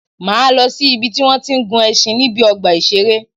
Máa lọ si ìbi tí wọ́n tí ń gun ẹṣin níbi ọgbà ìṣẹ̀rẹ́.